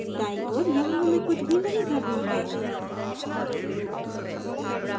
दाईं ओर यहाँ हमें कुछ भी नहीं करना है